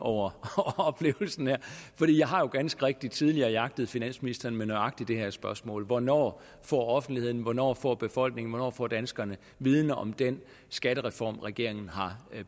over oplevelsen her for jeg har jo ganske rigtigt tidligere jagtet finansministeren med nøjagtig det her spørgsmål hvornår får offentligheden hvornår får befolkningen hvornår får danskerne viden om den skattereform regeringen har